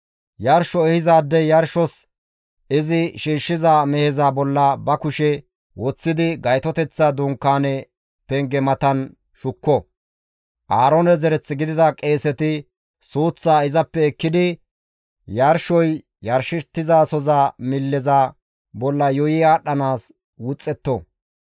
Yarsho ehizaadey yarshos izi shiishshiza meheza bolla ba kushe woththidi Gaytoteththa Dunkaane penge matan shukko; Aaroone zereth gidida qeeseti suuththaa izappe ekkidi yarshoy yarshettizasoza milleza bolla yuuyi aadhdhanaas wuxxetto.